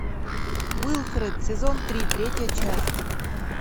уилфред сезон три третья часть